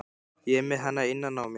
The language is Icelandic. Ég er með hana innan á mér.